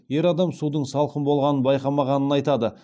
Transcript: ер адам судың салқын болғанын байқамағанын айтады